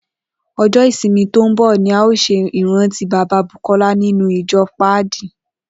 O̩jó̩ ìsinmi tó ń bò̩ ni a óò s̩e ìrántí bàbá Bùkó̩lá nínú ìjo̩ Páàdì